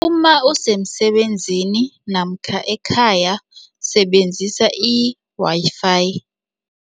Uma usemsebenzini namkha ekhaya, sebenzisa i-Wi-Fi.